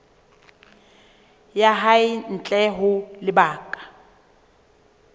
ya hae ntle ho lebaka